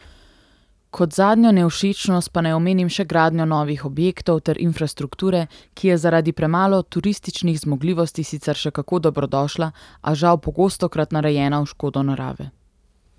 Kot zadnjo nevšečnost pa naj omenim še gradnjo novih objektov ter infrastrukture, ki je zaradi premalo turističnih zmogljivosti sicer še kako dobrodošla, a žal pogostokrat narejena v škodo narave.